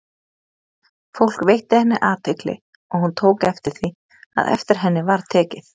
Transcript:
Fólk veitti henni athygli, og hún tók eftir því, að eftir henni var tekið.